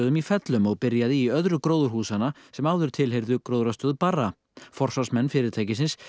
í fellum og byrjaði í öðru gróðurhúsanna sem áður tilheyrðu gróðrarstöð Barra forsvarsmenn fyrirtækisins